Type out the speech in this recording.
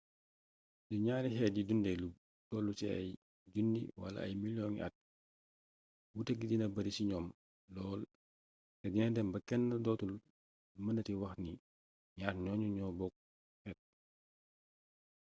su ñaari xeet yii dundee lu tollu ci ay junni wala ay milyoŋi at wuute gi dina bari ci ñoom lool te dina dem ba kenn dootul mënati wax ni ñaar ñooñu ñoo bokk xeet